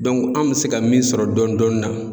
anw mi se ka min sɔrɔ dɔni dɔni na